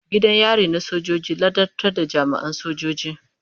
Gidan yari na sojoji ladabtar da jami'an sojoji.